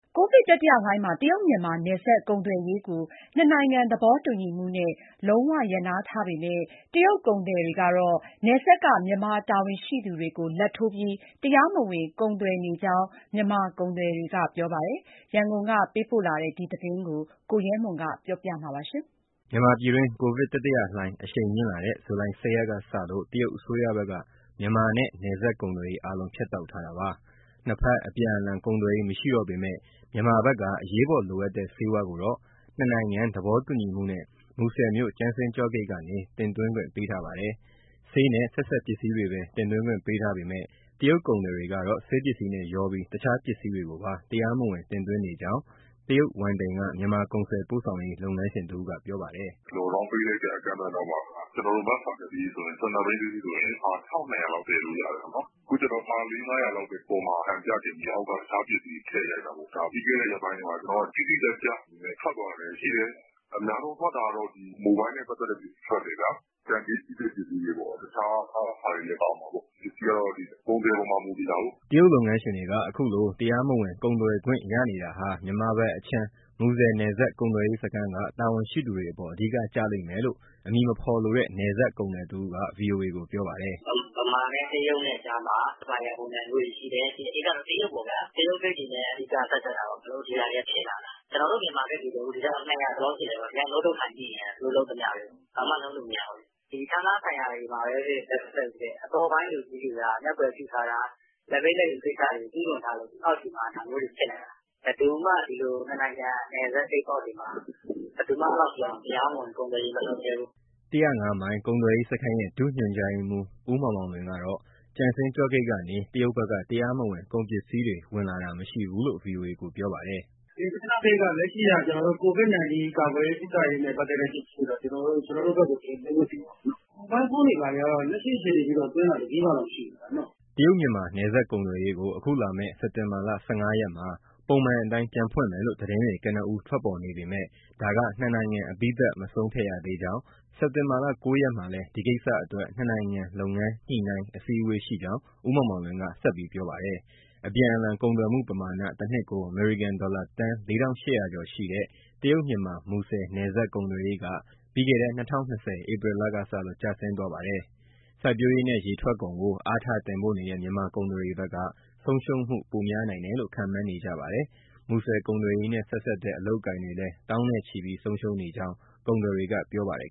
ကိုဗစ် တတိယလှိုင်းမှာ တရုတ်- မြန်မာ နယ်စပ်ကုန်သွယ်ရေးကို နှစ်နိုင်ငံသဘောတူညီမှုနဲ့ လုံးဝရပ်နားထားပေမဲ့ တရုတ်ကုန်သည်တွေကတော့ နယ်စပ်က မြန်မာတာဝန်ရှိသူတွေကို လာဘ်ထိုးပြီး တရားမဝင် ကုန်သွယ်နေကြောင်း မြန်မာကုန်သည်တွေက ပြောပါတယ်။ ရန်ကုန်ကပေးပို့လာတဲ့ မူဆယ်နယ်စပ် ကုန်သွယ်ရေး အခြေအနေကို ကိုရဲမွန်က ပြောပြမှာပါ။ မြန်မာပြည်တွင်း ကိုဗစ်တတိယလှိုင်း အရှိန်မြင့်လာတဲ့ ဇူလိုင် ၁၀ ရက်ကစလို့ တရုတ်အစိုးရဘက်က မြန်မာနဲ့ နယ်စပ်ကုန်သွယ်ရေး အားလုး ဖြတ်တောက်ထားတာပါ။ နှစ်ဘက် အပြန်အလှန်ကုန်သွယ်ရေး မရှိတော့ပေမယ့် မြန်မာဘက်က အရေးပေါ်လိုအပ်တဲ့ ဆေးဝါးကိုတော့ နှစ်နိုင်ငံ သဘောတူညီမှုနဲ့ မူဆယ်မြို့ ကျင်စန်းကျော့ဂိတ်ကနေ တင်သွင်းခွင့် ပေးထားပါတယ်။ ဆေးနဲ့ ဆက်စပ်ပစ္စည်းတွေပဲ တင်သွင်းခွင့်ပေးထားပေမယ့် တရုတ်ကုန်သည်တွေကတော့ ဆေးပစ္စည်းနဲ့ရောပြီး တခြားပစ္စည်းတွေကိုပါ တရားမဝင် တင်သွင်းနေကြောင်း တရုတ်ဝမ်တိန်က မြန်မာကုန်စည်ပို့ဆောင်ရေး လုပ်ငန်းရှင်တဦးက ပြောပါတယ်။ “Lockdown ပိတ်လိုက်တဲ့ အကန့်အသတ်နောက်မှာ Mask ဖာ ၁၂ ဘီး တစီးဆိုရင် ဖာ ၁,၂၀၀ လောက်သယ်လို့ ရတယ်ပေါ့နော်။ အခုကျ ဖာလေးငါးရာလောက်ပဲ အပေါ်မှာ ဟန်ပြတင်ပြီး အောက်က တခြားပစ္စည်းတွေ ထည့်ရိုက်တာပေါ့။ ပြီးခဲ့တဲ့ ရက်ပိုင်းတွေမှာ တိတိကျကျ ထွက်သွားတာတွေ ရှိတယ်။ အများဆုံး ထွက်တာကတော့ Mobile နဲ့ ပတ်သက်တဲ့ပစ္စည်း ထွက်တယ်၊ တန်ကြေးကြီးတဲ့ ပစ္စည်းတွေပေါ့။ တခြားဟာတွေလည်း ပါတာပေါ့။ ပစ္စည်းကတော့ ကုန်သည်အပေါ်မှာ မူတည်တာကိုး။” တရုတ် လုပ်ငန်းရှင်တွေက အခုလို တရားမဝင် ကုန်သွယ်ခွင့်ရနေတာဟာ မြန်မာဘက်အခြမ်း မူဆယ်နယ်စပ်ကုန်သွယ်ရေး စခန်းက တာဝန်ရှိသူတွေအပေါ် အဓိက ကျလိမ့်မယ်လို့ အမည်မဖော်လိုတဲ့ နယ်စပ်ကုန်သည်တဦးက ဗွီအိုအေကို ပြောပါတယ်။ “ ဗမာနဲ့တရုတ်နဲ့ကြားမှာ Supplier ပုံစံမျိုးတွေရှိတယ်။ အဓိကတော့ တရုတ်ပေါ့ဗျာ။ တရုတ်ဂိတ်တွေနဲ့ အဓိက ဆက်စပ်တာပေါ့။ အဲဒါမို့ ဒါတွေက ဖြစ်လာတာ။ ကျနော်တို့ မြန်မာဂိတ်တွေ ဒီ ထဲ ၂၀၀ ကျော်လောက်ရှိတယ်။ ဒီအတိုင်း ငုတ်တုပ် ထိုင်ကြည့်နေရတာ သူတို့လုပ်သမျှတွေကို။ ဘာမှ လုပ်လို့မရဘူး။ ဌာနဆိုင်ရာတွေမှာပဲဖြစ်ဖြစ် အပေါ်ပိုင်း လူကြီးတွေက မျက်ကွယ်ပြုထားတာ၊ လာဘ်ပေးလာဘ်ယူ ကိစ္စတွေကို ကျူးလွန်ထားလို့ အောက်ခြေမှာ ဒါမျိုးတွေ ဖြစ်လာတာ။ ဘယ်သူမှ ဒီလို နှစ်နိုင်ငံ နယ်စပ်ဂိတ်ပေါက်တွေမှာ တရားမဝင် ကုန်သွယ်ရေး မလုပ်ရဲဘူး။” ၁၀၅ မိုင် ကုန်သွယ်ရေးစခန်းရဲ့ ဒုညွှန်ကြားရေးမှူး ဦးမောင်မောင်လွင်ကတော့ ကျင်စန်းကျော့ဂိတ်ကနေ တရုတ်ဘက်က တရားမဝင် ကုန်ပစ္စည်းတွေ ဝင်လာတာ မရှိဘူးလို့ ဗွီအိုအေကို ပြောပါတယ်။ “ ကျင်စန်းကျော့ဂိတ်က ကျနော်တို့ လက်ရှိက Covid-19 ကာကွယ်ရေး၊ ကုသရေး ပစ္စည်းတွေတော့ ကျနော်တို့ဘက်ကို တင်သွင်းခွင့် ပြုတာပေါ့နော်။ မိုဘိုင်းဖုန်းတွေ ဘာတွေကတော့ လက်ရှိ အခြေအနေအထိတော့ သွင်းတာ တစီးမှ မရှိဘူးဗျ။” တရုတ်- မြန်မာနယ်စပ် ကုန်သွယ်ရေးကို အခုလာမယ့် စက်တင်ဘာ ၁၅ ရက်မှာ ပုံမှန်အတိုင်း ပြန်ဖွင့်မယ်လို့ သတင်းတွေကနဦး ထွက်ပေါ်နေပေါ်မယ့် ဒါက နှစ်နိုင်ငံအပြီးသတ် မဆုံးဖြတ်ရသေးကြောင်း၊ မနက်ဖြန် စက်တင်ဘာ ၉ ရက်မှာလည်း ဒီကိစ္စအတွက် နှစ်နိုင်ငံလုပ်ငန်းညှိနှိုင်း အစည်းအဝေးရှိကြောင်း ဦးမောင်မောင်လွင်က ပြောပါတယ်။ အပြန်အလှန် ကုန်သွယ်မှုပမာဏ တနှစ်ကို အမေရိကန်ဒေါ်လာ သန်း ၄,၈၀၀ ကျော်ရှိတဲ့ တရုတ်- မြန်မာ မူဆယ်နယ်စပ်ကုန်သွယ်ရေးက ပြီးခဲ့တဲ့ ၂၀၂၀ ဧပြီလကစလို့ ကျဆင်းသွားပါတယ်။ စိုက်ပျိုးရေးနဲ့ ရေထွက်ကုန်ကို အားထားတင်ပို့နေတဲ့ မြန်မာကုန်သည်တွေဘက်က ဆုံးရှုံးမှု ပိုများနိုင်တယ်လို့ ခန့်မှန်းနေကြပါတယ်။ မူဆယ်ကုန်သွယ်ရေးနဲ့ ဆက်စပ်တဲ့ အလုပ်အကိုင်တွေလည်း သောင်းနဲ့ချီပြီး ဆုံးရှုံးနေကြောင်း ကုန်သည်တွေက ပြောပါတယ်